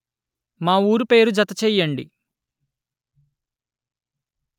మా ఊరు పేరు జత చెయ్యండి